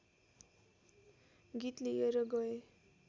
गीत लिएर गए